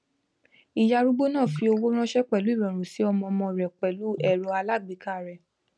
ìyá arúgbó náà fi owó ránṣẹ pẹlú ìrọrùn si ọmọ ọmọ rẹ pẹlú ẹrọ alágbèéká rẹ